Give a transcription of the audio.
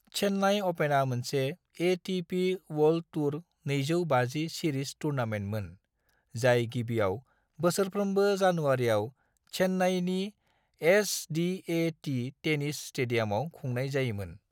चेन्नई अपेना मोनसे ATP. World Tour 250 series टुर्नामेन्टमोन जाय गिबियाव बोसोरफ्रोमबो जानुवारिआव चेन्नईनि एस.डि.ए.टि. टेनिस स्टेडियामाव खुंनाय जायोमोन।